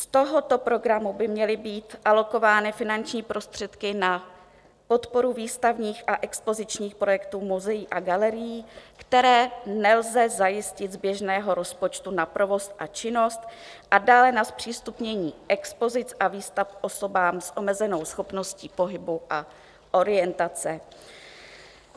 Z tohoto programu by měly být alokovány finanční prostředky na podporu výstavních a expozičních projektů muzeí a galerií, které nelze zajistit z běžného rozpočtu na provoz a činnost, a dále na zpřístupnění expozic a výstav osobám s omezenou schopností pohybu a orientace.